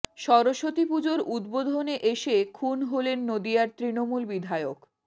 সরস্বতী পুজোর উদ্বোধনে এসে খুন হলেন নদীয়ার তৃণমূল বিধায়ক